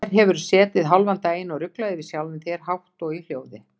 Hér hefurðu setið hálfan daginn og ruglað yfir sjálfum þér hátt og í hljóði.